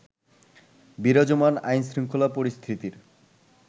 বিরাজমান আইনশৃঙ্খলা পরিস্থিতির